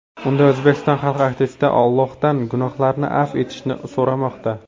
Unda O‘zbekiston xalq artisti Allohdan gunohlarini afv etishini so‘ramoqda.